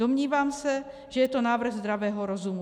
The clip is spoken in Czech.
Domnívám se, že je to návrh zdravého rozumu.